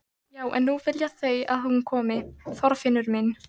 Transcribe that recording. Já en nú vilja þau að hún komi, Þorfinnur minn.